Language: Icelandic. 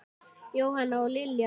Jóhanna og Lilja Rún.